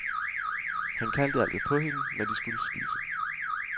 Han kaldte altid på hende, når de skulle spise.